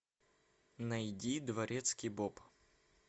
найди дворецкий боб